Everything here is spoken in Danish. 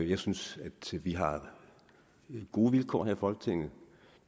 jeg synes at vi har gode vilkår her i folketinget